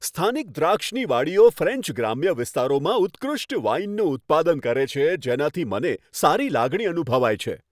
સ્થાનિક દ્રાક્ષની વાડીઓ ફ્રેન્ચ ગ્રામ્ય વિસ્તારોમાં ઉત્કૃષ્ટ વાઇનનું ઉત્પાદન કરે છે, જેનાથી મને સારી લાગણી અનુભવાય છે.